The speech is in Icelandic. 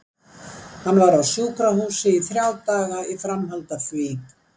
Hann var á sjúkrahúsi í þrjá daga í framhaldi af því.